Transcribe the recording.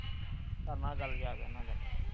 ਕਰਨਾ ਗੱਲ ਜਾਕੇ ਉਹਨਾਂ ਦੇ ਨਾਲ।